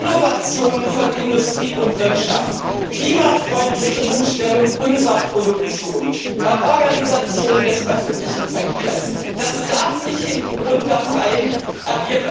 Innovationen von Industrie und Wirtschaft, klimafreundliche Umstellung unserer Produktion, Organisation des öffentlichen Verkehrs, das darf nicht hintangestellt werden.